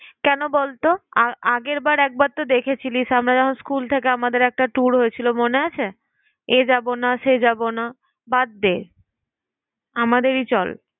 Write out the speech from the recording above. কেন বলতো? আর আগেরবার একবারতো দেখেছিলিস আমরা যখন school থেকে আমাদের একটা tour হয়েছিল মনে আছে? এ যাবো না, সে যাবো না। বাদ দে, আমাদেরই চল।